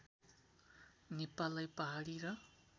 नेपाललाई पहाडी र